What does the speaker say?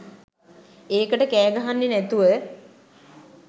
ඒකට කෑ ගහන්නෙ නැතුව.